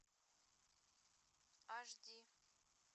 аш ди